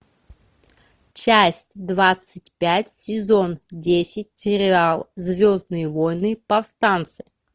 часть двадцать пять сезон десять сериал звездные войны повстанцы